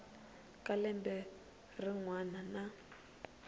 ka lembe rin wana na